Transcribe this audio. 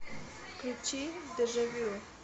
включи дежавю